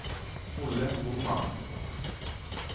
Olle Boman